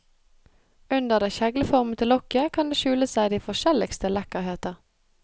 Under det kjegleformede lokket kan det skjule seg de forskjelligste lekkerheter.